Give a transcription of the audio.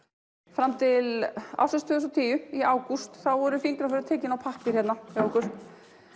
fram til ársins tvö þúsund og tíu í ágúst þá voru fingraförin tekin á pappír hérna hjá okkur